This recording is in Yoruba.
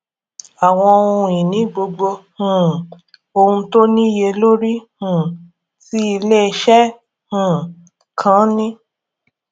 minisita dá ètò dúró ó yàn láti wá ọnà míì láti yanjú gbèsè ní àlàáfíà